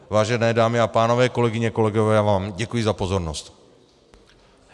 Vážené dámy a pánové, kolegyně, kolegové, já vám děkuji za pozornost.